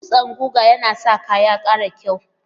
Dutsan guga yana sa kaya ya ƙara kyau.